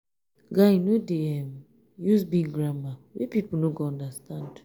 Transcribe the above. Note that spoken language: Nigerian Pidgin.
guy no dey um use big grammar wey pipo no go understand